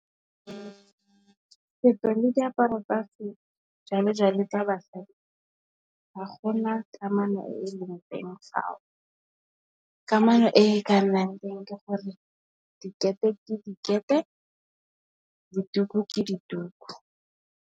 Setso le diaparo tsa se jalo jalo tsa basadi, ga gona kamano e e leng teng fao, kamano e ka nnang teng ke gore dikete ke dikete ka dituku ke dituku.